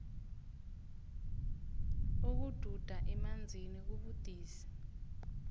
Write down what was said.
ukududa emanzini kubudisi